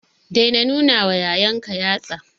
Daina nunawa yayanka yatsa.